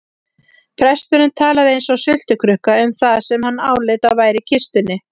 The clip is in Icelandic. Presturinn talaði eins og sultukrukka um það sem hann áleit að væri í kistunni.